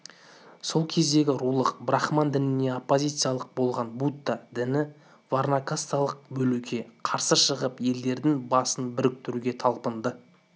сол кездегі рулық-брахман дініне оппозиция болған будда діні варна-касталық бөлуге қарсы шығып елдердің басын біріктіруге талпынды